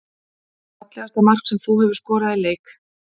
Fallegasta mark sem þú hefur skorað í leik?